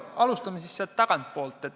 Alustame tagantpoolt.